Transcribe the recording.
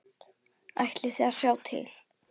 Ætlið þið að slá til?